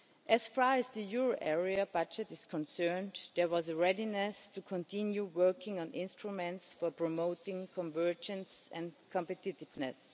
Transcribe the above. As far as the euro area budget is concerned, there was a readiness to continue working on instruments for promoting convergence and competitiveness.